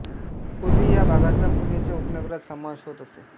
पूर्वी या भागाचा पुण्याच्या उपनगरात समावेश होत असे